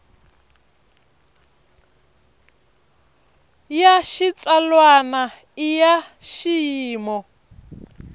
ya xitsalwana i ya xiyimo